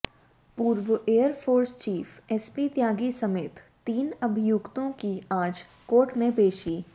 पूर्व air force chief S P Tyagi समेत तीन अभियुक्तों की आज कोर्ट में पेशी